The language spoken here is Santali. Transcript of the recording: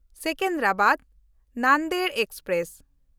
ᱥᱮᱠᱮᱱᱫᱨᱟᱵᱟᱫ–ᱱᱟᱱᱫᱮᱲ ᱮᱠᱥᱯᱨᱮᱥ